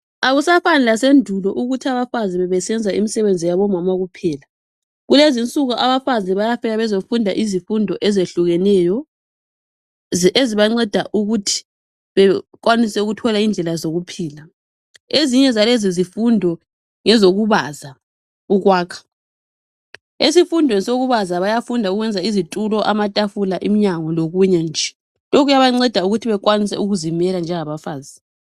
akusafani lasendulo ukuthi abafazi bebeenza imisebenzi yabomama kuphela kulezininsuku abafazi bayafika beyizenza izifundo ezehlukeneyo ezibancedisa ukuthi bekwanise ukuthola indlela zokuphila ezinye zalezo zifundo ngezokubaza lokwakha eisfundweni sokubaza bayafunda ukwenza isitulo amatafula iminyango lokunye nje lokhu kuyabanceda ukuthi bekwanise ukuzimela njengabafazi